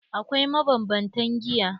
Akwai mabanbantan giya.